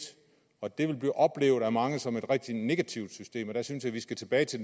og pligt det vil blive oplevet af mange som et rigtig negativt system jeg synes at vi skal tilbage til